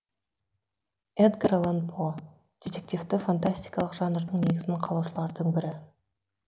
эдгар аллан по детективті фантастикалық жанрдың негізін қалаушылардың бірі